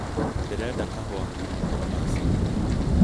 ndĩrenda kahũa kuuma kũri macini